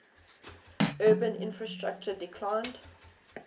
urban infrastructure declined